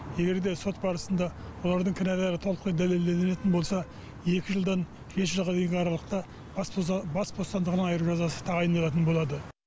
егер де сот барысында олардың кінәлері толықтай дәлелделенетін болса екі жылдан жеті жылға дейінгі аралықта бас бостандығынан айыру жазасы тағайындалатын болады